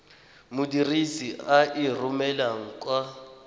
modirisi a e romelang kwa